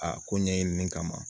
Aa ko ɲɛɲini min kama